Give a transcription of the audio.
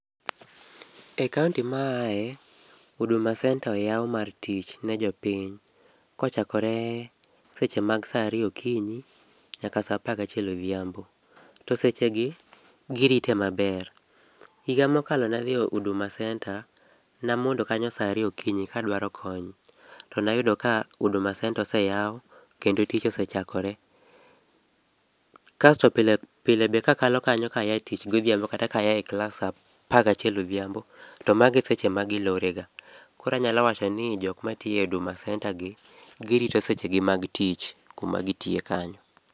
E kaonti maaye, Huduma Centre oyaw mar tich ni jopiny kochakore seche mag saa ariyo okinyi nyaka saa apar gachiel odhiambo. To seche gi, girite maber. Higa mokalo nadhi Huduma Centre, namondo kanyo saa ariyo okinyi kadwaro kony. To nayudo ka Huduma Centre oseyaw kendo tich ose chakore. Kasto pile pile be kakalo kanyo kaya tich godhiambo kata kaa e klas saa apar gachiel odhiambo, to mago e seche ma gilorega. Koro anyalo wacho ni jok matiyo e Huduma Centre gi, girito sechegi mag tich, kuma gitiye kanyo.